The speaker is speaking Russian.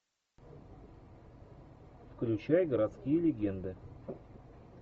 включай городские легенды